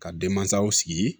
Ka denmansaw sigi